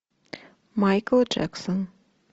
майкл джексон